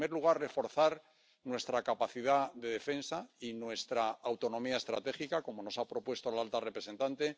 En primer lugar, reforzar nuestra capacidad de defensa y nuestra autonomía estratégica, como nos ha propuesto la alta representante